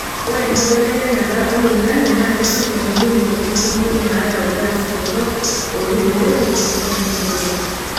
Ore enkibelekenyata oloingange naa kesip teneipim ntokitin kumok naayau ilgaasi torok oibooki enkop enkirowuaj.